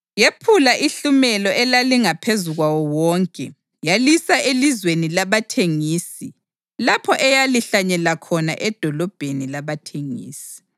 yephula ihlumela elalingaphezu kwawo wonke yalisa elizweni labathengisi lapho eyalihlanyela khona edolobheni labathengisi.